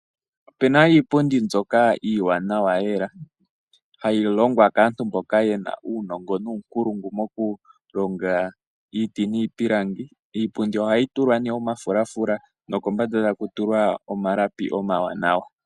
Opuna iipundi mbyoka iiwanawa lela hayi longwa kaantu mbono yena uunongo nuunkulungu mokulonga iiti niipilangi . Iipundi ohayi tulwa nduno omafulafula nokombanda taku tulwa omalapi omawunawa .